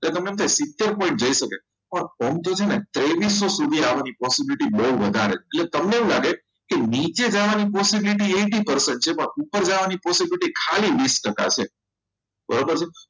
એટલે કે તમે સિત્તેર પર જઈ શકે પણ form જે છે ને તે વિશે સુધી આવવાની possibility બહુ વધારે છે એટલે તમને એવું લાગે કે નીચે જવાની possibility eighty percent છે પણ ઉપર જવાની possibility ખાલી વીસ ટકા છે બરાબર છે